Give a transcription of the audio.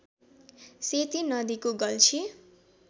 सेती नदीको गल्छी